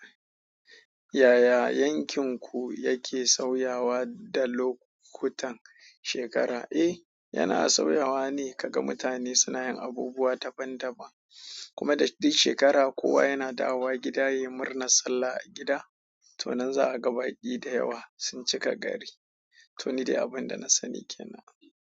Yaya yankinku yake sauyawa da lokutan shekara? Eh, yana sauyawa ne. Kaga mutane suna yin abubuwa daban daban, kuma da duk shekara kowa yana dawowa gida ya yi murnar Sallah a gida. To nan za a ga baƙi da yawa sun cika gari. To, ni dai abin da na sani ke nan.